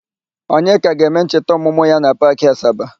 Onyeka ga-eme ncheta ọmụmụ ya na Paakị Asaba.